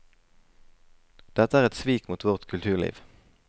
Dette er et svik mot vårt kulturliv.